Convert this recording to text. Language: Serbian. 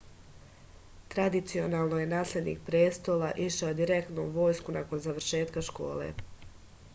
tradicionalno je naslednik prestola išao direktno u vojsku nakon završetka škole